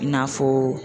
I n'a fɔ